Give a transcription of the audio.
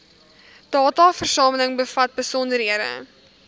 dataversameling bevat besonderhede